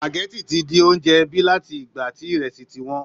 Spageti ti di oúnjẹ ẹbí láti ìgbà tí ìrẹsì ti wọ́n